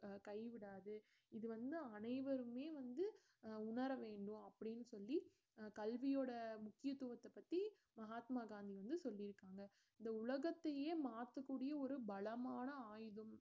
அஹ் கை விடாது இது வந்து அனைவருமே வந்து அஹ் உணர வேண்டும் அப்படின்னு சொல்லி கல்வியோட முக்கியத்துவத்தை பத்தி மகாத்மா காந்தி வந்து சொல்லியிருக்காங்க இந்த உலகத்தையே மாத்தக்கூடிய ஒரு பலமான ஆயுதம்